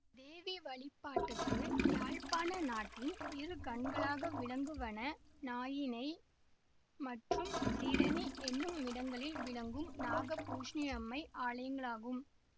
தேவி வழிபாட்டுக்கு யாழ்ப்பாண நாட்டின் இரு கண்களாக விளங்குவன நாயினை மற்றும் சீரணி என்னுமிடங்களில் விளங்கும் நாகபூஷணியம்மை ஆலயங்களாகும்